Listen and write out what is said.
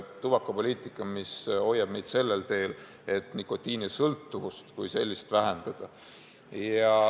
Tubakapoliitika peab meid hoidma sellel teel, et nikotiinisõltuvust kui sellist vähendada.